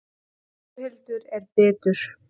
Þórhildur er bitur.